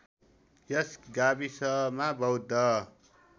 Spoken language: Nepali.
यस गाविसमा बौद्ध